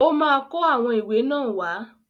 Ọ́ ma kó àwọn ìwé náà wá.